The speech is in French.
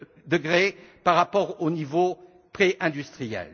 degrés par rapport au niveau préindustriel.